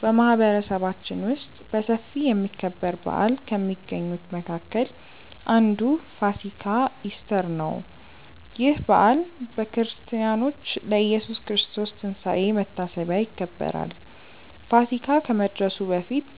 በማህበረሰባችን ውስጥ በሰፊ የሚከበር በዓል ከሚገኙት መካከል አንዱ ፋሲካ (ኢስተር) ነው። ይህ በዓል በክርስቲያኖች ለኢየሱስ ክርስቶስ ትንሳኤ መታሰቢያ ይከበራል። ፋሲካ ከመድረሱ በፊት